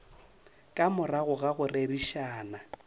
ka morago ga go rerišana